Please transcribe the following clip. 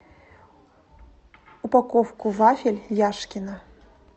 упаковку вафель яшкино